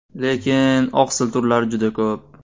Lekin oqsil turlari juda ko‘p.